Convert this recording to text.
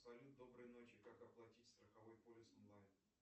салют доброй ночи как оплатить страховой полис онлайн